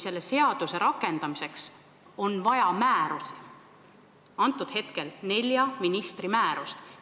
Selle seaduse rakendamiseks on vaja määrusi, praegusel juhul nelja ministri määrust.